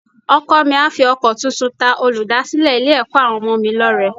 Ọkọ mi á fi ọkọ tuntun ta olùdásílẹ̀ Ilé-ẹ̀kọ́ àwọn ọmọ mi lọ́rẹ